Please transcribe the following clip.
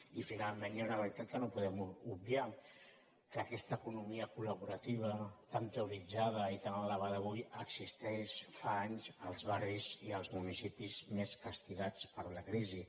i finalment hi ha una realitat que no podem obviar que aquesta economia col·laborativa tan teoritzada i tan alabada avui existeix fa anys als barris i als municipis més castigats per la crisi